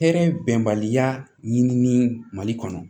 Hɛrɛ bɛnbaliya ɲini ni mali kɔnɔ